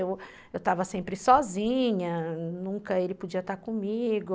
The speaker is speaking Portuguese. Eu estava sempre sozinha, nunca ele podia estar comigo.